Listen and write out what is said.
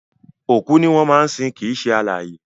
Òkú ni wọ́n máa ń sin kìí ṣe alààyè